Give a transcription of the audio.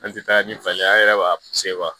An tɛ taa ni pasa ye an yɛrɛ b'a